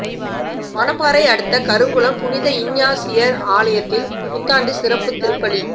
மணப்பாறை அடுத்த கருங்குளம் புனித இஞ்ஞாசியார் ஆலயத்தில் புத்தாண்டு சிறப்பு திருப்பலி